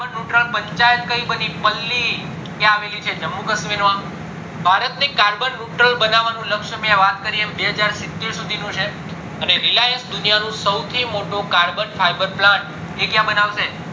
carbon neutral panchayat કય બની પલ્લી ક્યાં આવેલી છે જમ્મુ કાશ્મ્મીર માં ભારત ની carbon neutral બનવાનું લક્ષ્ય મેં વાત કરી એમ બેહજાર સિત્તેર સુધી નું છે અને relience દુનિયાનો સૌથી મોટો carbon fiber plant એ ક્યાં બનાવશે